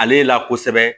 Ale la kosɛbɛ